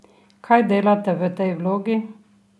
Kaj delate v tej vlogi?